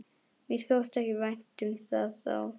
Mér þótti ekki vænt um það þá!